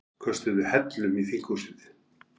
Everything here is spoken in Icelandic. Köstuðu hellum í þinghúsið